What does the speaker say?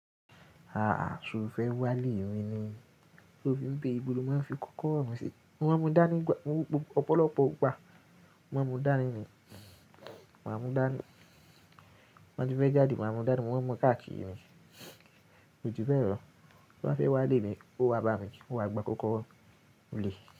A a, ṣo fẹ́ wá lé m ni, tó fi ń bere ìbolo máa ń fi kókóro mí sí, mo ma ń mú dání gbà, ọ̀pọ̀lọpọ̀ ìgbà, mò máa ń mú dání mi, màá mú dání, tí ń bá tí fẹ́ jáde máa mú dání, mò máa mú káàkiri mi, kojubelo, tó bá fẹ́ wá lé mi, ó wá bá mi, ó wá gbá kókóro mi nlé.